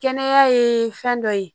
Kɛnɛya ye fɛn dɔ ye